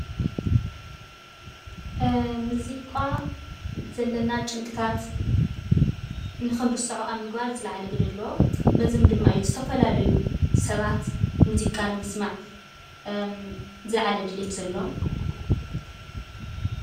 ሙዚቓ ዘለና ጭንቅታት ንክንርስዖ ኣብ ምግባር ዝልዓለ ግደ ኣለዎ። በዚ ድማ እዩ ዝተፈላለዩ ሰባት ሙዚቓ ንምስማዕ ዝልዓለ ድሌት ዘለዎም።